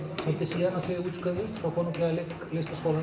svolítið síðan að þau útskrifuðust frá konunglega